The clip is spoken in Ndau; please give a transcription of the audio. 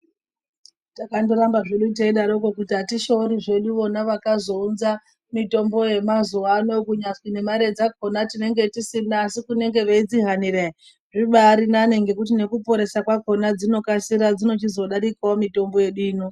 Takandoramba zvedu teidaroko kuti atishoori zvedu vona vakazounza mitombo yemazuwa ano, kunyazwi nemare dzakhona tinenge tisina. Asi kunenge veidzihanira ere, zvibaari nani ngekuti nekuporesa kwakhona dzinokasira, dzino chizodarikawo mitombo yedu ino.